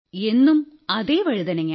എന്നും അതേ വഴുതനങ്ങ